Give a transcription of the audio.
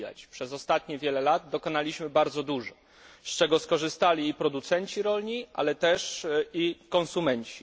Przez ostatnich wiele lat dokonaliśmy bardzo dużo, z czego skorzystali producenci rolni, ale też i konsumenci.